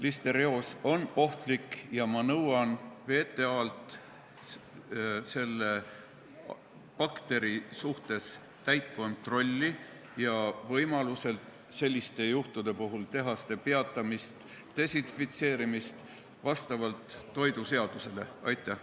Listerioos on ohtlik ja ma nõuan VTA-lt selle bakteri suhtes täit kontrolli, selliste juhtude puhul võimaluse korral tehaste töö peatamist ja desinfitseerimist, nii nagu toiduseadus ette näeb.